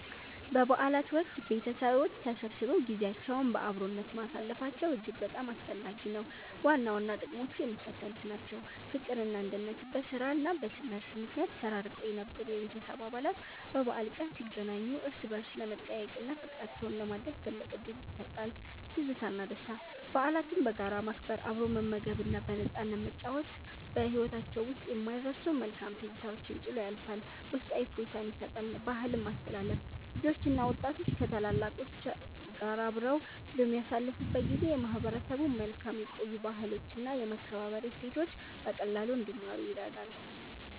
በበዓላት ወቅት ቤተሰቦች ተሰብስበው ጊዜያቸውን በአብሮነት ማሳለፋቸው እጅግ በጣም አስፈላጊ ነው። ዋና ዋና ጥቅሞቹ የሚከተሉት ናቸው፦ ፍቅርና አንድነት፦ በሥራና በትምህርት ምክንያት ተራርቀው የነበሩ የቤተሰብ አባላት በበዓል ቀን ሲገናኙ እርስ በርስ ለመጠያየቅና ፍቅራቸውን ለማደስ ትልቅ ዕድል ይፈጥራል። ትዝታና ደስታ፦ በዓላትን በጋራ ማክበር፣ አብሮ መመገብና በነፃነት መጨዋወት በሕይወታችን ውስጥ የማይረሱ መልካም ትዝታዎችን ጥሎ ያልፋል፤ ውስጣዊ እፎይታም ይሰጣል። ባህልን ማስተላለፍ፦ ልጆችና ወጣቶች ከታላላቆች ጋር አብረው በሚያሳልፉበት ጊዜ የማህበረሰቡን መልካም የቆዩ ባህሎችና የመከባበር እሴቶች በቀላሉ እንዲማሩ ይረዳል።